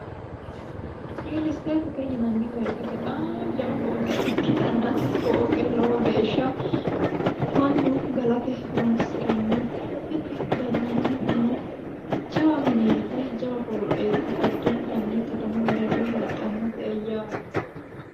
Reale statete yinanni woyte bexami jawa fooqe ikkittanna tini fooqe mannu galate horonsiranno tini gallanni jawa mineti jawa fooqeti addittanni katamu mereero heedhanote yaate.